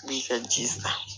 I b'i ka ji san